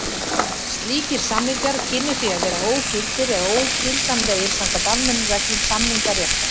Slíkir samningar kynnu því að vera ógildir eða ógildanlegir samkvæmt almennum reglum samningaréttar.